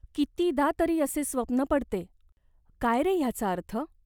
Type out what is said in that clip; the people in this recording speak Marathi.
कितीदा तरी असे स्वप्न पडते. काय रे ह्याचा अर्थ ?